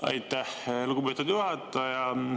Aitäh, lugupeetud juhataja!